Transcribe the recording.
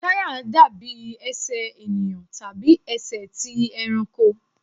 Táyà dàbí Ẹsẹ̀ ènìyàn tàbí ẹsẹ̀ ti ẹranko.